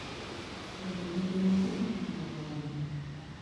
thuondi ni gi ragi ma moro wang`